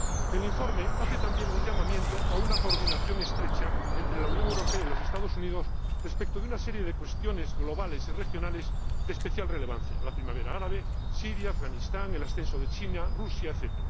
El informe hace también un llamamiento a una coordinación estrecha entre la Unión Europea y los Estados Unidos respecto de una serie de cuestiones globales y regionales de especial relevancia la Primavera árabe, Siria, Afganistán, el ascenso de China, Rusia, etc.